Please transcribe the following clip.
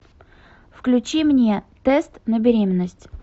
включи мне тест на беременность